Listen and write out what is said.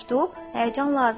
Həyəcan lazım deyil.